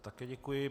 Také děkuji.